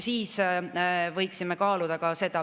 Siis me võiksime seda kaaluda.